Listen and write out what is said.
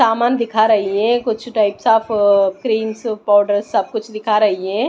सामान दिखा रही है कुछ टाइप्स ऑफ क्रीम्स पाउडर सब कुछ दिखा रही है।